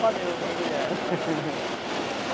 panema para mulher. risos